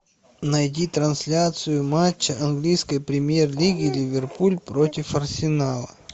найди трансляцию матча английской премьер лиги ливерпуль против арсенала